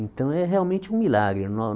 Então é realmente um milagre.